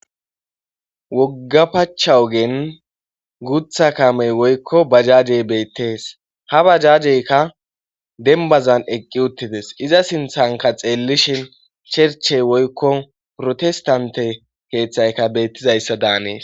wogga pacha ogen gutha kamey woykko bajajey beettees ha bajajeykka dembazan eqqi uttides iza sinthanka xeellishin sherchey woykko protestante keeththayka beettizayssa daanees